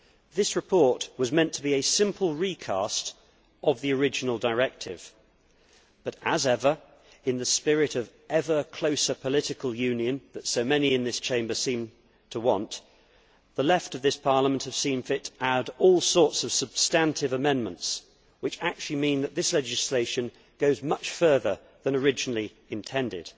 This report was meant to be a simple recast of the original directive but, as ever, in the spirit of ever closer political union that so many in this Chamber seem to want, the left of this Parliament have seen fit to add all sorts of substantive amendments which actually mean that this legislation goes much further than originally intended.